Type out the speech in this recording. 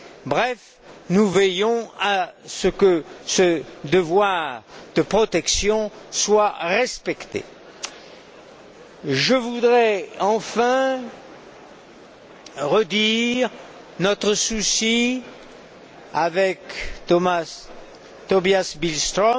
Bref, nous veillons à ce que ce devoir de protection soit respecté. Je voudrais enfin redire notre souci, avec Tobias Billström,